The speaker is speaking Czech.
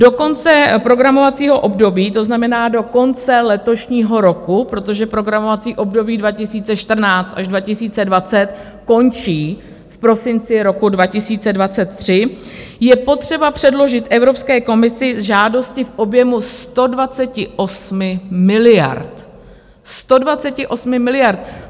Do konce programovacího období, to znamená do konce letošního roku, protože programovací období 2014 až 2020 končí v prosinci roku 2023, je potřeba předložit Evropské komisi žádosti v objemu 128 miliard, 128 miliard!